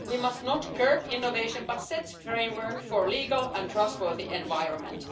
We must not curb innovation, but set the framework for a legal and trustworthy environment.